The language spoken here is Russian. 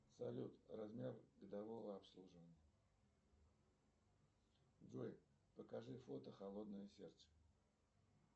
салют размер годового обслуживания джой покажи фото холодное сердце